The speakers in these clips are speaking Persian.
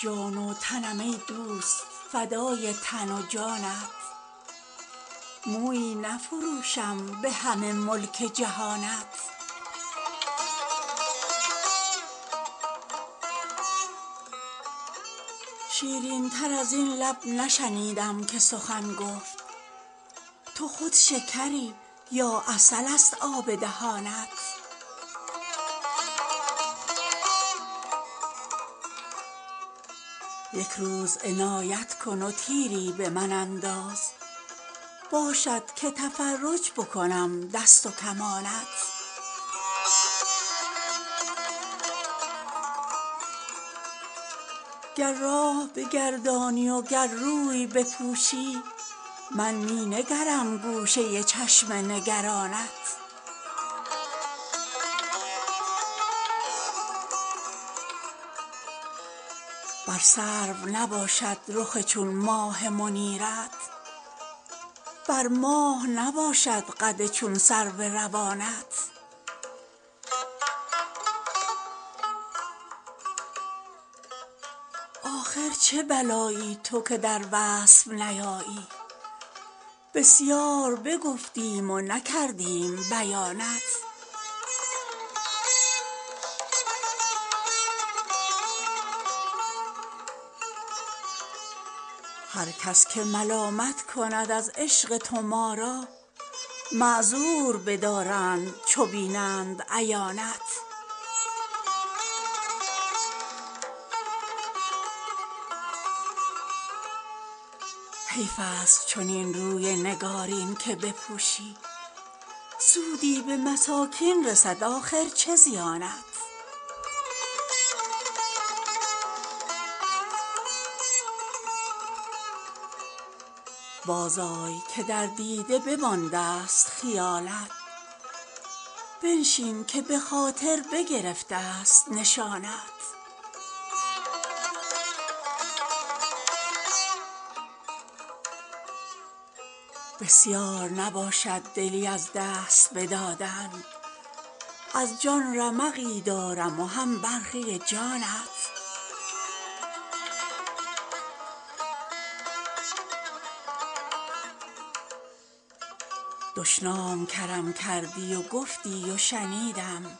جان و تنم ای دوست فدای تن و جانت مویی نفروشم به همه ملک جهانت شیرین تر از این لب نشنیدم که سخن گفت تو خود شکری یا عسل ست آب دهانت یک روز عنایت کن و تیری به من انداز باشد که تفرج بکنم دست و کمانت گر راه بگردانی و گر روی بپوشی من می نگرم گوشه چشم نگرانت بر سرو نباشد رخ چون ماه منیرت بر ماه نباشد قد چون سرو روانت آخر چه بلایی تو که در وصف نیایی بسیار بگفتیم و نکردیم بیانت هر کس که ملامت کند از عشق تو ما را معذور بدارند چو بینند عیانت حیف ست چنین روی نگارین که بپوشی سودی به مساکین رسد آخر چه زیانت بازآی که در دیده بماندست خیالت بنشین که به خاطر بگرفت ست نشانت بسیار نباشد دلی از دست بدادن از جان رمقی دارم و هم برخی جانت دشنام کرم کردی و گفتی و شنیدم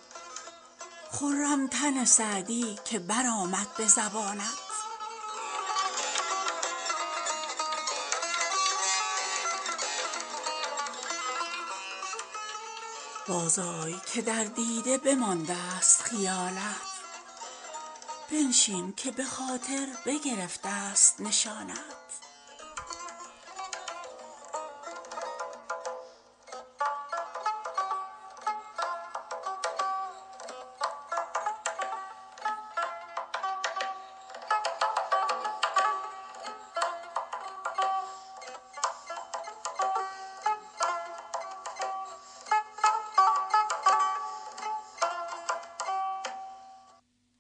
خرم تن سعدی که برآمد به زبانت